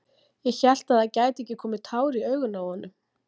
Ég hélt að það gætu ekki komið tár í augun á honum!